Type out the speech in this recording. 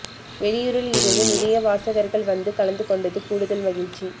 வெளியூரில் இருந்து நிறைய வாசகர்கள் வந்து கலந்து கொண்டது கூடுதல் மகிழ்ச்சி